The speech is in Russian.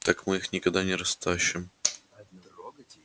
так мы их никогда не растащим сказал наконец мэтт